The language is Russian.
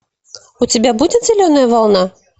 у тебя будет зеленая волна